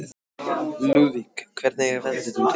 Lúðvík, hvernig er veðrið úti?